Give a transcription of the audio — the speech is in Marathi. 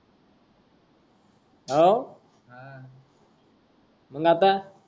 हाव! मंग आता